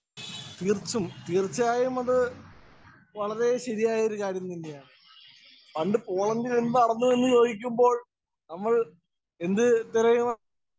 Speaker 1 തീര്‍ത്തും, തീര്‍ച്ചയായും അത് വളരെ ശരിയായ ഒരു കാര്യം തന്നെയാണ്. പണ്ട് പോളണ്ടില്‍ എന്ത് നടന്നു എന്ന് ചോദിക്കുമ്പോള്‍ നമ്മള്‍ എന്ത് തെരയണം?